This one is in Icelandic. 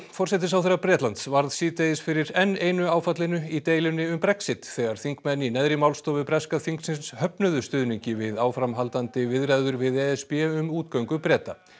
forsætisráðherra Bretlands varð síðdegis fyrir enn einu áfallinu í deilunni um Brexit þegar þingmenn í neðri málstofu breska þingsins höfnuðu stuðningi við áframhaldandi viðræður við e s b um útgöngu Breta